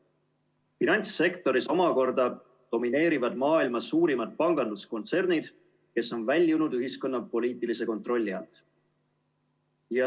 Finantssektoris omakorda domineerivad maailma suurimad panganduskontsernid, kes on väljunud ühiskonna poliitilise kontrolli alt.